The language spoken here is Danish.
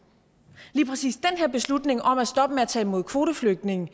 lige præcis den her beslutning om at stoppe med at tage imod kvoteflygtninge